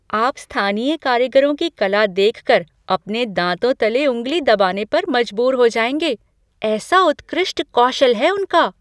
आप स्थानीय कारीगरों की कला देख कर अपने दाँतों तले उँगली दबाने पर मजबूर हो जाएँगे, ऐसा उत्कृष्ट कौशल है उनका।